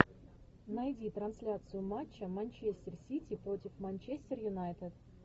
найди трансляцию матча манчестер сити против манчестер юнайтед